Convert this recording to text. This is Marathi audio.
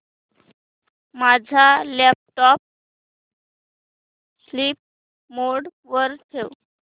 माझा लॅपटॉप स्लीप मोड वर ठेव